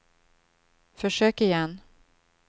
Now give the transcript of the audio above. försök igen